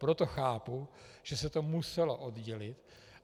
Proto chápu, že se to muselo oddělit.